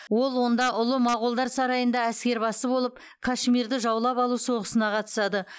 ол онда ұлы моғолдар сарайында әскербасы болып кашмирді жаулап алу соғысына қатысады